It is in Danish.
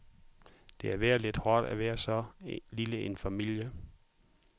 Det har været lidt hårdt at være så lille en familie.